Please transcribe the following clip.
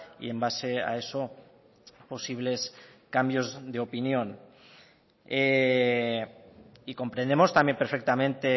y en base a eso posibles cambios de opinión y comprendemos también perfectamente